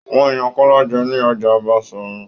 Wọn yan Kọla jẹ ni Ọjà Basorun.